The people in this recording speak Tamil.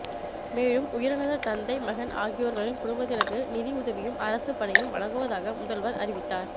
மேலும் உயிரிழந்த தந்தை மகன் ஆகியோர்களின் குடும்பத்திற்கு நிதி உதவியும் அரசு பணியும் வழங்குவதாக முதல்வர் அறிவித்தார்